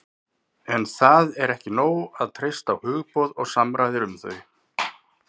en það er ekki nóg að treysta á hugboð og samræður um þau